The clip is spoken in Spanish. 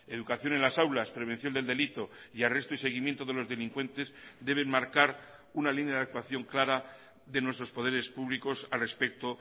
educación en las aulas prevención del delito y arresto y seguimiento de los delincuentes deben marcar una línea de actuación clara de nuestros poderes públicos al respecto